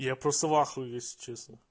я просто в ахуе если честно